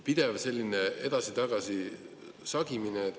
Pidev selline edasi-tagasi sagimine.